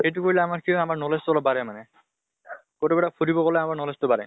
সেইটো কৰিলে আমাৰ কি হয় আমাৰ knowledge টো অলপ বাঢ়ে মানে । কতোবা এটা ফুৰিব গলে আমাৰ knowledge টো বাঢ়ে।